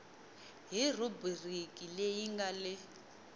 hi rhubiriki leyi nga le